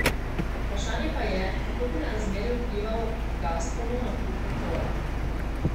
Vprašanje pa je, kako bi na razmerja vplival Gazpromov nakup Petrola.